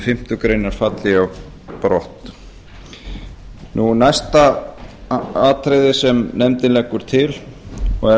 fimmtu grein falli á brott næsta atriði sem nefndin leggur til og